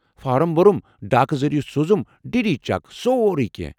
Form بوٚرُم، ڈاکہٕ ذٔریعہٕ سوزُم ڈی ڈی چیک، سوروٕے کینٛہہ۔